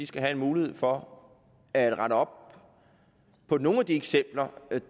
skal have en mulighed for at rette op på nogle af de ting